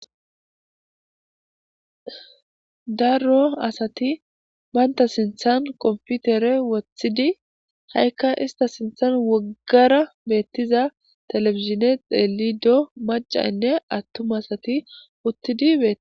darro asati banta sinthan qomputere wothidi ha7ikka ista sinthan woggara beettiza telefizine xeeli do macainne attuma asati wottidi be